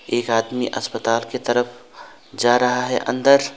एक आदमी अस्पताल के तरफ जा रहा है अंदर।